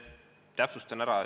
Täpsustan.